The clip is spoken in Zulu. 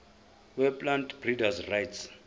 weplant breeders rights